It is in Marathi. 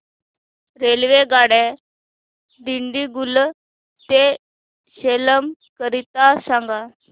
रेल्वेगाड्या दिंडीगुल ते सेलम करीता सांगा